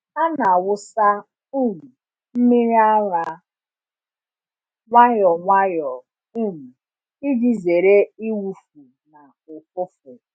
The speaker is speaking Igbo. A na-awụsa um mmiri ara nwayọ nwayọ um iji zere ịwụfu na ụfụfụ.